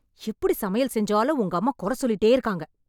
எப்படி சமையல் செஞ்சாலும் உங்க அம்மா குறை சொல்லிட்டே இருக்காங்க